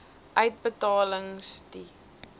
uitbetalings d i